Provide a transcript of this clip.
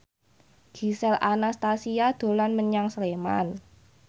Gisel Anastasia dolan menyang Sleman